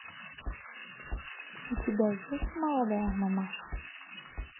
у тебя есть молодая мамаша